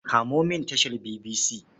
Kamo mini tashar BBC.